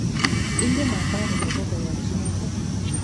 Ingen athari nebo koyanchi noto